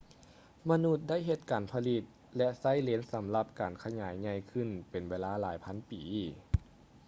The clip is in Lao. ມະນຸດໄດ້ເຮັດການຜະລິດ ແລະ ໃຊ້ເລນສຳລັບການຂະຫຍາຍໃຫຍ່ຂື້ນເປັນເວລາຫລາຍພັນປີ